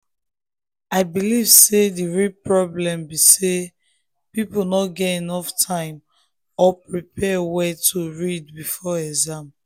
i believe say the real problem be say people no get enough time or prepare well to read before exam.